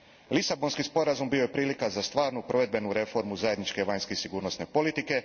Lisabonski sporazum bio je prilika za stvarnu provedbenu reformu zajedničke vanjske i sigurnosne politike.